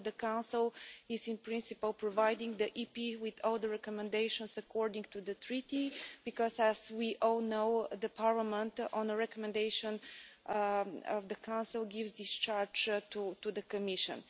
So the Council is, in principle, providing the EP with all the recommendations, according to the Treaty, because, as we all know, the Parliament, on the recommendation of the Council, gives discharge to the Commission.